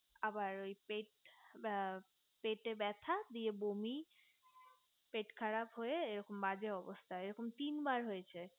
আবার পেট ব্যাথা গিয়ে বমি পেট খারাপ হয়ে এরকম বাজে অবস্থা এরকম তিনবার হয়েছে এবার